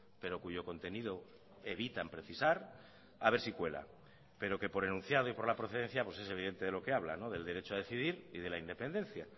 pero cuyo contenido evitan precisar a ver si cuela pero que por enunciado y por la procedencia pues es evidente de lo que habla del derecho a decidir y de la independencia